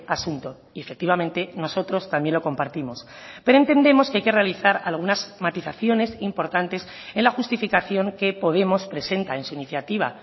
asunto y efectivamente nosotros también lo compartimos pero entendemos que hay que realizar algunas matizaciones importantes en la justificación que podemos presenta en su iniciativa